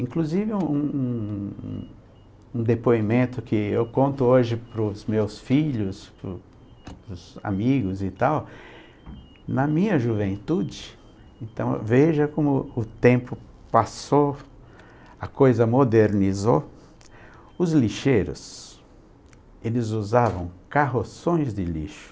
Inclusive, um um um um um depoimento que eu conto hoje para os meus filhos, para os para os amigos e tal, na minha juventude, então veja como o tempo passou, a coisa modernizou, os lixeiros, eles usavam carroções de lixo,